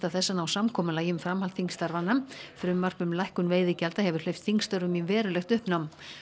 þess að ná samkomulagi um framhald þingstarfanna frumvarp um lækkun veiðigjalda hefur hleypt þingstörfum í verulegt uppnám